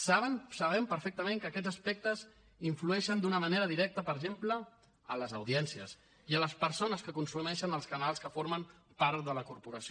saben ho sabem perfectament que aquests aspectes influeixen d’una manera directa per exemple a les audiències i a les persones que consumeixen els canals que formen part de la corporació